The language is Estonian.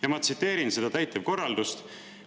Ja ma tsiteerin seda täitevkorraldust.